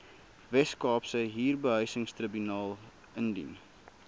weskaapse huurbehuisingstribunaal indien